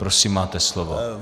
Prosím, máte slovo.